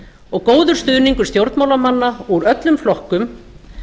og góður stuðningur stjórnmálamanna úr öllum flokkum